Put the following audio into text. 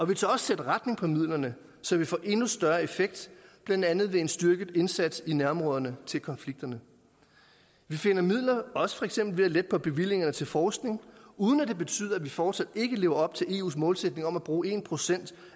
vi tør også sætte retning på midlerne så vi får endnu større effekt blandt andet ved en styrket indsats i nærområderne til konflikterne vi finder midler også for eksempel ved at lette på bevillingerne til forskning uden at det betyder at vi fortsat ikke lever op til eus målsætning om at bruge en procent